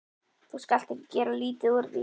Þú skalt ekki gera lítið úr því.